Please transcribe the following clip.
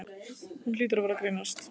Hún hlýtur að vera að grínast.